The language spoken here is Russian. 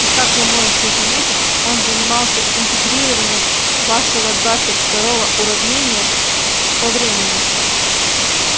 и как вы можете заметить он занимался интегрированием вашего двадцать второго уравнения по времени